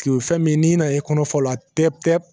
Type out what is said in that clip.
Kile fɛn min n'i nana i kɔnɔ fɔ o la pewu pewu